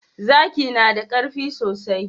zaki nada karfi sosai